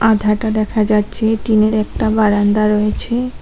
মাথাটা দেখা যাচ্ছে টিনের একটা বারান্দা রয়েছে।